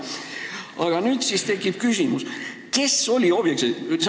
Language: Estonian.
Aga nüüd tekib küsimus, kes oli sellest sildistamisest huvitatud.